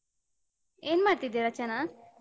ಏನ್ ಮಾಡ್ತಿದ್ದೆ ರಚನಾ?